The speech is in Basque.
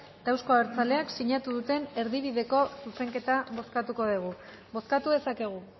eta euzko abertzaleak sinatu duten erdibideko zuzenketa bozkatuko dugu bozkatu dezakegu